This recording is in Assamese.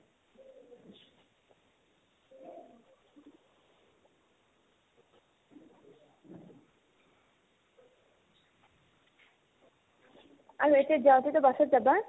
আৰু এতিয়াতো যাওতেতো বাছত যাবা